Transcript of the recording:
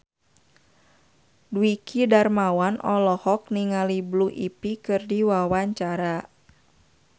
Dwiki Darmawan olohok ningali Blue Ivy keur diwawancara